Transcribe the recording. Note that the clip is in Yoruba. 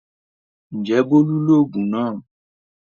Ǹjẹ́ Bólú lògùn náà?